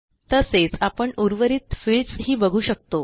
तसेच आपण उर्वरित फील्ड्स ही बघू शकतो